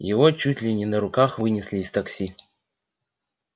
его чуть ли не на руках вынесли из такси